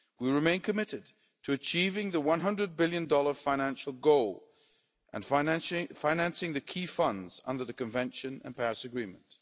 We remain committed to achieving the USD 100 billion financial goal and financing the key funds under the Convention and Paris Agreement.